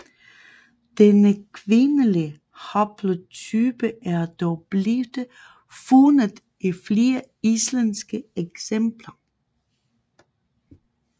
Denne kvindlige haplotype er dog blevte fundet i flere islandske eksempler